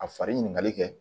A fari ɲinikali kɛ